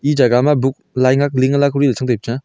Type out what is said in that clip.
e jagah ma book lai nak link ala kori chong dao pe chang a.